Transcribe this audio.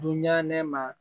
Dun ɲɛnama